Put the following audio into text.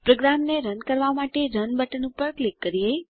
પ્રોગ્રામને રન કરવાં માટે રન બટન પર ક્લિક કરીએ